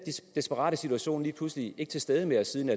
desperate situation lige pludselig ikke til stede mere siden